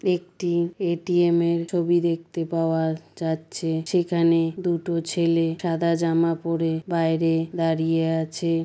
একটি এ.টি.এম. এর ছবি দেখতে পাওয়া যাচ্ছে। সেখানে দুটো ছেলে সাদা জামা পড়ে বাইরে দাঁড়িয়ে আছে।